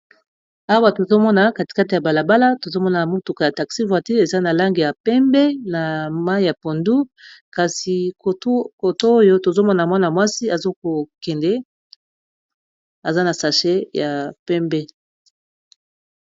awa tozomona katikate ya balabala tozomona motuka ya taxi vortil eza na lange ya pembe na mai ya pondu kasi tkoto oyo tozomona mwana mwasi azokokende aza na sachet ya pembe